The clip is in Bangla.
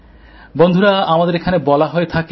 বন্ধুরা আমাদের এখানে বলা হয়ে থাকে